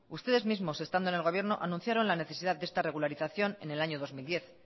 ustedes mismos estando en el gobierno anunciaron la necesidad de esta regularización en el año dos mil diez